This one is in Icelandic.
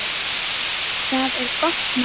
Það er gott mál.